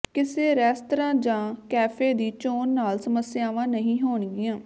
ਕਿਸੇ ਰੈਸਤਰਾਂ ਜਾਂ ਕੈਫੇ ਦੀ ਚੋਣ ਨਾਲ ਸਮੱਸਿਆਵਾਂ ਨਹੀਂ ਹੋਣਗੀਆਂ